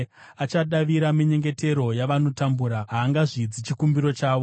Achadavira minyengetero yavanotambura; haangazvidzi chikumbiro chavo.